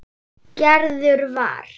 Gerður var.